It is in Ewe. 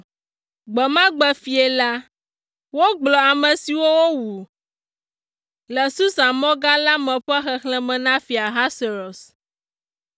Gbe ma gbe fiẽ la, wogblɔ ame siwo wowu le Susa mɔ gã la me ƒe xexlẽme na Fia Ahasuerus.